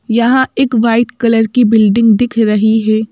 यहां एक white colour की बिल्डिंग दिख रही है।